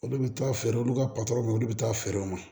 Olu bɛ taa feere olu ka ma olu bɛ taa feere u ma